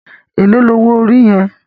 Éló ni ówó óri yèn?